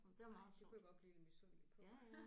Ej det kunne jeg godt blive lidt misundelig på